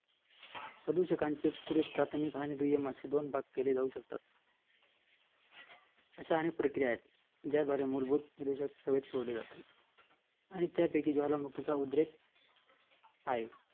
प्रदूषकांचे पुढे प्राथमिक आणि दुय्यम असे दोन भाग केले जाऊ शकता अश्या आणि प्रक्रिया आहे ज्यामुळे प्रदूषण सोडले जातात आणि त्या पोटी ज्वालामुखींचा उद्रेक आहे